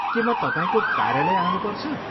के म तपाईँको कार्यालय आउनुपर्छ?